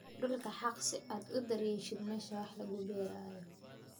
Dhulka xaaq si aad u diyaarisid meesha wax lagu beerayo.